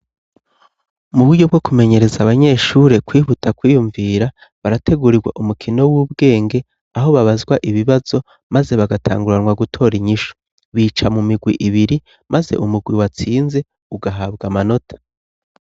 Mu buryo bwo kumenyereza abanyeshure kwihuta kwiyumvira barategurirwa umukino w'ubwenge aho babazwa ibibazo maze bagatanguranwa gutora inyishu. Bica mu mirwi ibiri maze umurwi watsinze ugahabwa amanota.